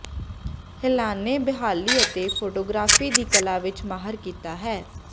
Helena ਬਹਾਲੀ ਅਤੇ photography ਦੀ ਕਲਾ ਵਿਚ ਮਾਹਰ ਕੀਤਾ ਹੈ